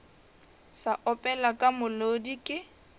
sa opela ka molodi ke